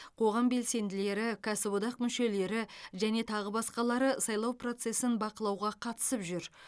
қоғам белсенділері кәсіподақ мүшелері және тағы басқалары сайлау процесін бақылауға қатысып жүр